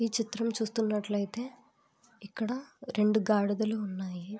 ఈ చిత్రం చూస్తున్నట్లయితే ఇక్కడ రెండు గాడిదలు ఉన్నాయి